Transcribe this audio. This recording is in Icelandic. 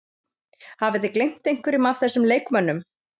Hafið þið gleymt einhverjum af þessum leikmönnum?